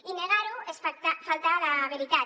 i negar ho és faltar a la veritat